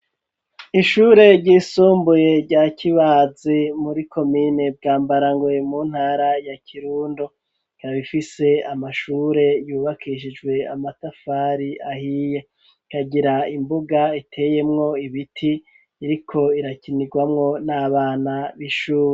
Ishure ryisumbuye rya Kibazi muri komine Bwambarangoe mu ntara ya Kirundo ikaba ifise amashure yubakishijwe amatafari ahiye ikagira imbuga iteyemwo ibiti iriko irakinirwamwo n'abana b'ishuri